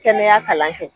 Kɛnɛya kalan kɛ